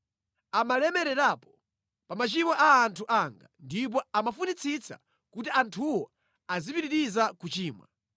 Amalemererapo pa machimo a anthu anga ndipo amafunitsitsa kuti anthuwo azipitiriza kuchimwa.